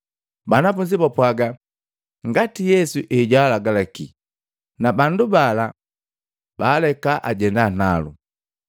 Banafunzi bapwagaa ngati Yesu ejwaalagalaki, na bandu bala baaleka ajenda nalu.